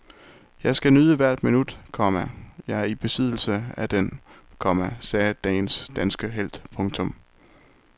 Jeg skal nyde hvert minut, komma jeg er i besiddelse af den, komma sagde dagens danske helt. punktum